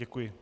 Děkuji.